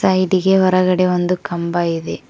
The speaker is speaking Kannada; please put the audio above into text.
ನೀಟಿಗೆ ಹೊರಗಡೆ ಒಂದು ಕಂಬ ಇದೆ.